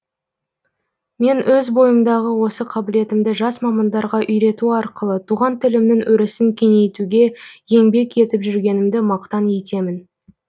мен өз бойымдағы осы қабілетімді жас мамандарға үйрету арқылы туған тілімнің өрісін кеңейтуге еңбек етіп жүргенімді мақтан етемін